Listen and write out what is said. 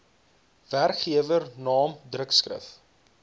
werkgewer naam drukskrif